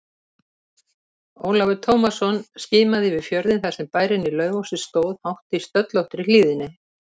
Ólafur Tómasson skimaði yfir fjörðinn þar sem bærinn í Laufási stóð hátt í stöllóttri hlíðinni.